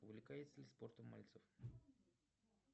увлекается ли спортом мальцев